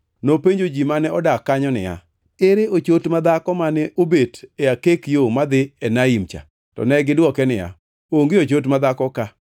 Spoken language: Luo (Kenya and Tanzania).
Nopenjo ji mane odak kanyo niya, “Ere ochot madhako mane obet e akek yo madhi Enaim cha?” To negidwoke niya, “Onge ochot ma dhako ka.”